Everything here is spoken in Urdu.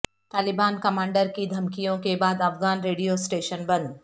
طالبان کمانڈر کی دھمکیوںکے بعد افغان ریڈیو اسٹیشن بند